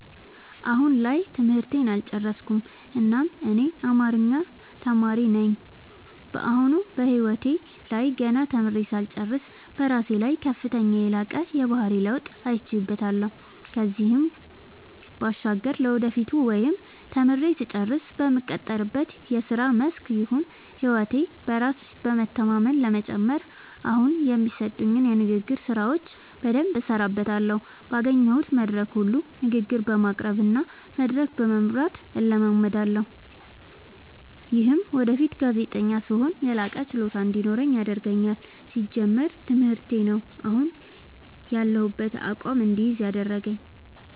አሁን ላይ ትምህርቴን አልጨረስኩም እናም እኔ አማሪኛ ተማሪ ነኝ በአሁኑ በህይወቴ ላይ ገና ተምሬ ሳልጨርስ በራሴ ላይ ከፍተኛና የላቀ የባህሪ ለውጥ አይቼበታለው ከዚህም ባሻገር ለወደፊቱ ወይም ተምሬ ስጨርስ በምቀጠርበት የስራ መስክ ይሁን ህይወቴ በራስ በመተማመን ለመጨመር አሁኒ የሚሰጡኝን የንግግር ስራዎች በደምብ እሠራበታለሁ ባገኘሁት መድረክ ሁሉ ንግግር በማቅረብ እና መድረክ በመምራት እለማመዳለሁ። ይምህም ወደፊት ጋዜጠኛ ስሆን የላቀ ችሎታ እንዲኖረኝ ያደርገኛል። ሲጀመር ትምህርቴ ነው። አሁን ያሁበትን አቋም እድይዝ ያደረገኝ።